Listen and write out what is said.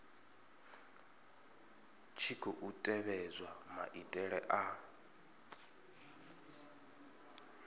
tshi khou tevhedzwa maitele a